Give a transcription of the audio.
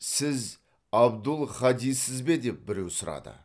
сіз абдул хадиссіз бе деп біреу сұрады